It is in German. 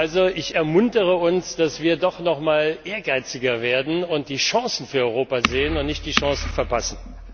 Also ich ermuntere uns, dass wir doch noch einmal ehrgeiziger werden und die Chancen für Europa sehen und nicht die Chancen verpassen!